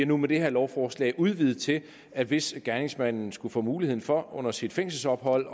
nu med det her lovforslag udvidet til at hvis gerningsmanden skulle få mulighed for under sit fængselsophold